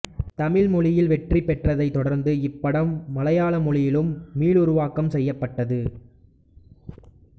தமிழ் மொழியில் வெற்றி பெற்றதை தொடர்ந்து இப்படம் மலையாள மொழியிலும் மீளுருவாக்கம் செய்யப்பட்டது